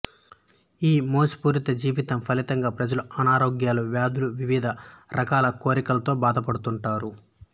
ఈ మోసపూరిత జీవితం ఫలితంగా ప్రజలు అనారోగ్యాలు వ్యాధులు వివిధ రకాల కోరికలతో బాధపడుతుంటారు